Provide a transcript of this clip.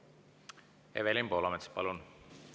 Evelin Poolamets, palun!